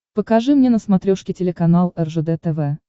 покажи мне на смотрешке телеканал ржд тв